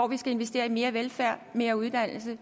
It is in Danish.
vil investere i mere velfærd og mere uddannelse